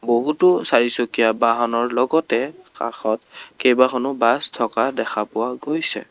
বহুতো চাৰিচকীয়া বাহনৰ লগতে কাষত কেইবাখনো বাছ থকা দেখা পোৱা গৈছে।